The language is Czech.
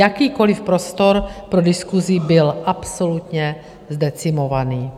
Jakýkoliv prostor pro diskusi byl absolutně zdecimovaný.